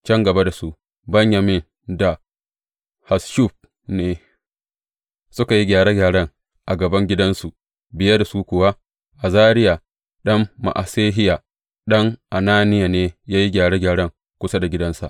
Can gaba da su, Benyamin da Hasshub ne suka yi gyare gyaren a gaban gidansu, biye da su kuwa, Azariya ɗan Ma’asehiya, ɗan Ananiya ne ya yi gyare gyaren kusa da gidansa.